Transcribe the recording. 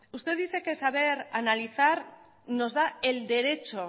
usted dice que saber analizar nos da el derecho